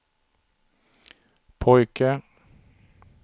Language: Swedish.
pojke